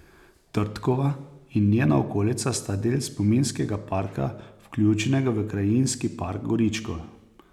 Trdkova in njena okolica sta del spominskega parka vključenega v krajinski park Goričko.